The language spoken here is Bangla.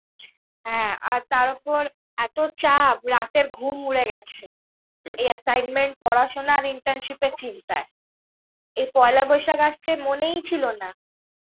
হ্যাঁ, তার উপর এত চাপ, রাতের ঘুম উড়ে গেছে. এই assignment পড়াশুনা আর internship এর চিন্তায়. এই পয়লা বৈশাখ আসছে মনেই ছিলনা.